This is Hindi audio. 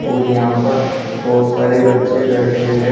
और यहां पर बहोत सारे बच्चे बैठे हुए हैं।